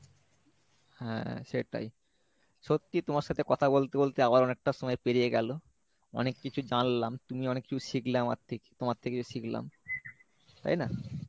হ্যাঁ সেটাই সত্যি তোমার সাথে কথা বলতে বলতে আমার অনেকটা সময় পেরিয়ে গেলো অনেক কিছু জানলাম তুমি অনেক কিছু শিখলে আমার থেকে তোমার থেকেও শিখলাম তাই না?